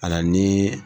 Ala ni